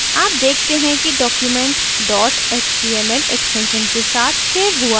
आप देखते हैं कि document dot html extension के साथ सेव हुआ है